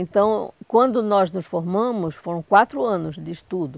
Então, quando nós nos formamos, foram quatro anos de estudo.